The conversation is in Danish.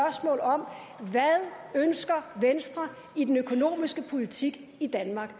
ønsker i den økonomiske politik i danmark